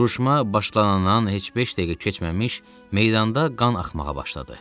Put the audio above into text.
Vuruşma başlanandan heç beş dəqiqə keçməmiş meydanda qan axmağa başladı.